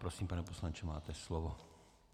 Prosím, pane poslanče, máte slovo.